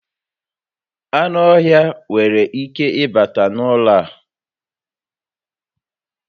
Ánụ́ ọhịa nwèrè ike ịbata n'ụlọ a